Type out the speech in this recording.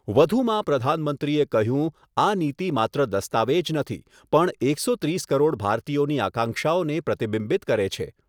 વધુમાં પ્રધાનમંત્રીએ કહ્યું આ નીતિ માત્ર દસ્તાવેજ નથી પણ એકસો ત્રીસ કરોડ ભારતીયોની આકાંક્ષાઓને પ્રતિબિંબિત કરે છે.